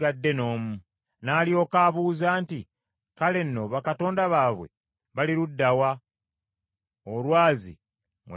N’alyoka abuuza nti, Kale nno bakatonda baabwe bali ludda wa, olwazi mwe beekweka.